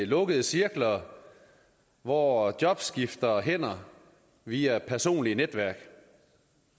lukkede cirkler hvor job skifter hænder via personlige netværk